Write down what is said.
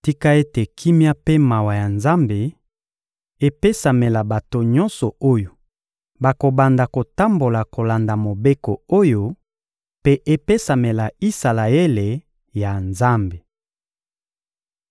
Tika ete kimia mpe mawa ya Nzambe epesamela bato nyonso oyo bakobanda kotambola kolanda mobeko oyo, mpe epesamela Isalaele ya Nzambe!